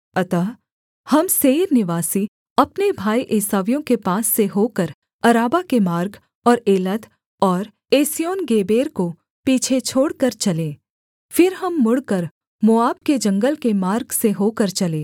अतः हम सेईर निवासी अपने भाई एसावियों के पास से होकर अराबा के मार्ग और एलत और एस्योनगेबेर को पीछे छोड़कर चले फिर हम मुड़कर मोआब के जंगल के मार्ग से होकर चले